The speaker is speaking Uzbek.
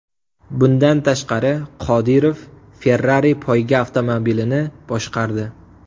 Bundan tashqari, Qodirov Ferrari poyga avtomobilini boshqardi.